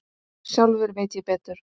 Sjálfur veit ég betur.